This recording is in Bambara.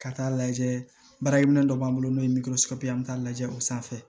Ka taa lajɛ baarakɛ minɛn dɔ b'an bolo n'o ye t'a lajɛ o sanfɛ